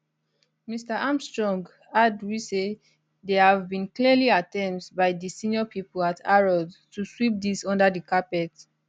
mr armstrong add we say dia have been clearly attempts by di senior pipo at harrods to sweep dis under di carpet